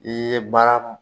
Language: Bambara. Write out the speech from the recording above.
I ye baara